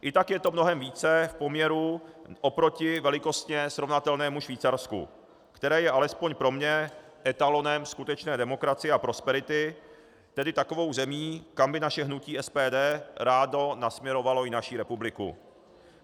I tak je to mnohem více v poměru oproti velikostně srovnatelnému Švýcarsku, které je, alespoň pro mě, etalonem skutečné demokracie a prosperity, tedy takovou zemí, kam by naše hnutí SPD ráno nasměrovalo i naši republiku.